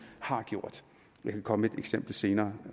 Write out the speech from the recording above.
har gjort jeg kan komme med et eksempel senere